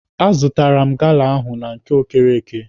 A zụrụ m gala ahụ na nke Okereke.